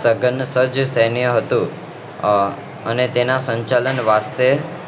સગન સેઠ સૈન્ય હતું આહ અને તેના સંચાલન વાસ્તે